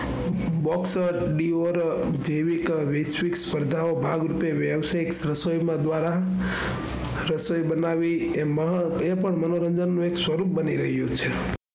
Box જેવીક વૈશ્ચિક સ્પર્ધાઓ ભાગરૂપે વ્યાવસાયિક રસોઈ દ્વારા રસોઈ બનાવવી એ પણ મનોરંજન નું એક સ્વરૂપ બની ગયું છે.